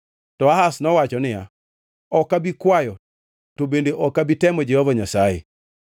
To Ahaz nowacho niya, “Ok abi kwayo to bende ok abi temo Jehova Nyasaye.”